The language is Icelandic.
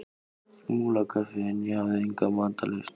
Múlakaffi en ég hafði enga matarlyst.